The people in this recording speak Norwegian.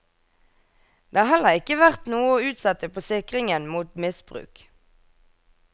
Det har heller ikke vært noe å utsette på sikringen mot misbruk.